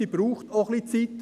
Sie braucht etwas Zeit.